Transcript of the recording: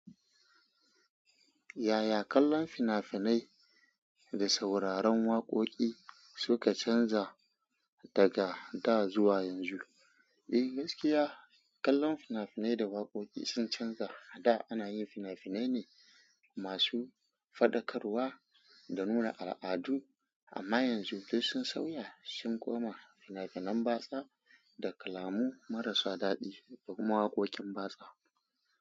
Yaya kallon fina-finai da sauraron waƙoƙi suka canza daga da zuwa yanzu? Eh gaskiya, kallon fina-finai da waƙoƙi sun canza. Da ana yin fina-finai ne masu faɗakarwa da nuna al'adu amma yanzu duk sun sauya. Sun koma fina-finan batsa da kalamu marasa daɗi da kuma waƙoƙin batsa.